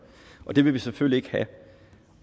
og det vil vi selvfølgelig ikke have